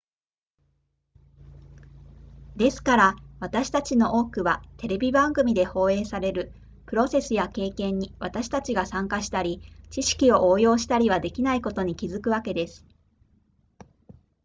ですから私たちの多くはテレビ番組で放映されるプロセスや経験に私たちが参加したり知識を応用したりはできないことに気づくわけです